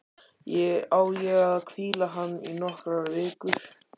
Á ég að hvíla hann í nokkrar vikur?